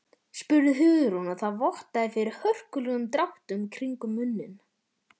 spurði Hugrún og það vottaði fyrir hörkulegum dráttum kringum munninn.